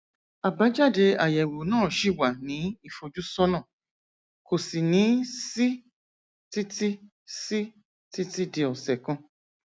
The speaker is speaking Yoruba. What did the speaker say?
àbájáde àyẹwò náà ṣì wà ní ìfojúsọnà kò sì ní sí títí sí títí di ọsẹ kan